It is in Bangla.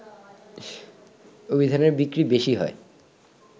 অভিধানের বিক্রি বেশি হয়